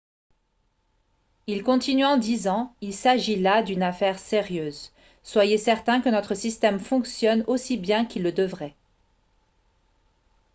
"il continua en disant "il s'agit là d'une affaire sérieuse. soyez certains que notre système fonctionne aussi bien qu'il le devrait.""